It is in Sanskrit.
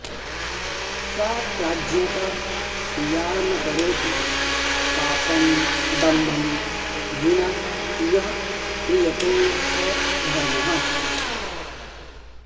सा प्राज्ञता या न करोति पापं दम्भं विना यः क्रियते स धर्मः